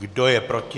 Kdo je proti?